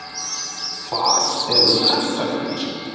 Hvar eru krakkarnir?